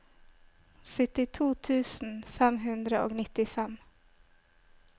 syttito tusen fem hundre og nittifem